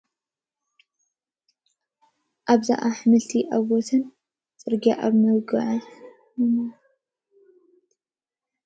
ኣብዛ ኣሕምልቲ ኣብ ወሰን ጽርግያ ኣብ መዘርግሒ ተዘርጊሖም ኣለዉ። ኣብቲ ስእሊ፡ ብሮኮሊ፡ ሓምላይ ሕብሪ ዘለዎ ኣሕምልቲ ከምኡውን ጅንጅብል ይርአ። ካብዞም ኣሕምልቲ ኣየናይ ኢኻ ብጣዕሚ ክትበልዕ ትፈቱ? ወይስ ንኹሎም ትፈትዎም ኢካ?